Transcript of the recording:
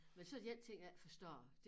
Men så 1 ting jeg ikke forstår